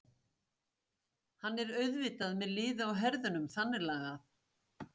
Hann er auðvitað með liðið á herðunum þannig lagað.